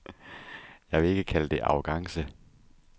Jeg vil ikke kalde det arrogance.